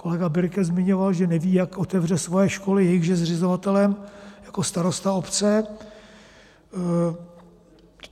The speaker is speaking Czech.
Kolega Birke zmiňoval, že neví, jak otevře svoje školy, jejichž je zřizovatelem jako starosta obce.